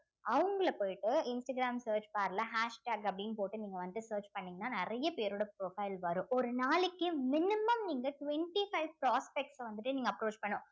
அவங்கள போயிட்டு Instagram search bar ல hashtag அப்படின்னு போட்டு நீங்க வந்து search பண்ணீங்கன்னா நிறைய பேரோட profile வரும் ஒரு நாளைக்கு minimum நீங்க twenty five prospects அ வந்துட்டு நீங்க approach பண்னும்